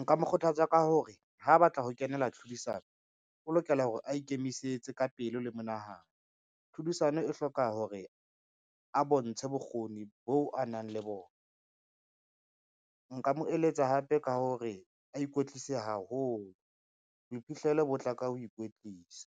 Nka mo kgothatsa ka hore ha batla ho kenela tlhodisano, o lokela hore a ikemisetse ka pelo le monahano. Tlhodisano e hloka hore a bontshe bokgoni boo a nang le bona. Nka mo eletsa hape ka hore a ikwetlise haholo, boiphihlelo bo tla ka ho ikwetlisa,